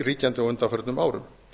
ríkjandi á undanförnum árum